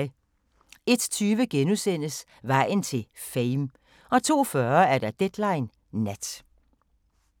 01:20: Vejen til "Fame" 02:40: Deadline Nat